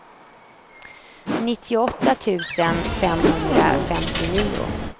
nittioåtta tusen femhundrafemtionio